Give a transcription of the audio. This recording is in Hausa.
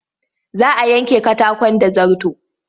Za a yanke katakon da zarto.